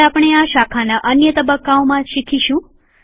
જે આપણે આ શાખાના અન્ય તબક્કાઓમાં શીખીશું